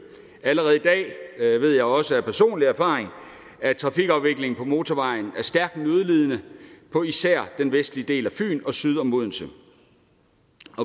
allerede i dag og det ved jeg også af personlig erfaring er trafikken på motorvejen stærkt nødlidende på især den vestlige del af fyn og syd om odense